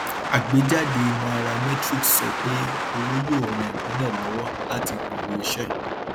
àgbéjáde nairametrics sọ pé owó yóò ràn ìpìlẹ lọwọ láti gbòòrò iṣẹ